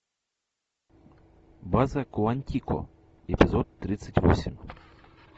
база куантико эпизод тридцать восемь